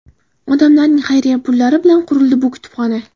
Odamlarning xayriya pullari bilan qurildi bu kutubxona.